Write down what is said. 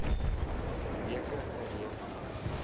weke gereed wees